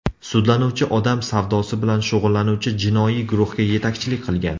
Sudlanuvchi odam savdosi bilan shug‘ullanuvchi jinoiy guruhga yetakchilik qilgan.